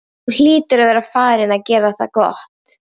Þú hlýtur að vera farinn að gera það gott!